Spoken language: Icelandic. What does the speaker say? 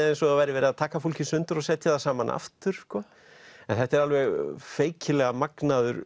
eins og það væri verið að taka fólk í sundur og setja það saman aftur en þetta er alveg feikilega magnaður